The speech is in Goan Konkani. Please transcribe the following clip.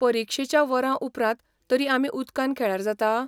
परीक्षेच्या वरांउपरांत तरी आमी उदकान खेळ्यार जाता?